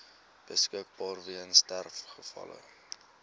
beskikbaar weens sterfgevalle